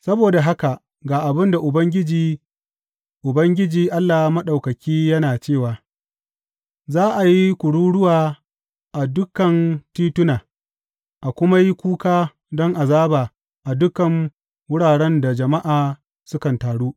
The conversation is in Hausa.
Saboda haka ga abin da Ubangiji, Ubangiji Allah Maɗaukaki yana cewa, Za a yi kururuwa a dukan tituna a kuma yi kuka don azaba a dukan wuraren da jama’a sukan taru.